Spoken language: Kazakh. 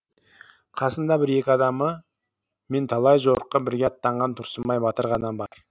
қасында бір екі адамы мен талай жорыққа бірге аттанған тұрсынбай батыр ғана бар